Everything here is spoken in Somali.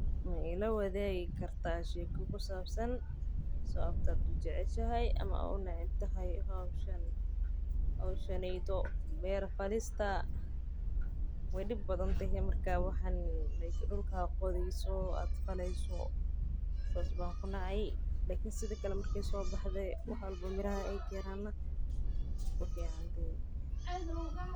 Ma ila waadigi kartaa sheeka ku sabsan sababta aad ujeceshahay ama unecbahay howshan beer falista waay dib badan tahay marki dulka qodi hayso.